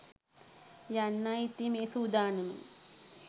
යන්නයි ඉතින් මේ සූදානම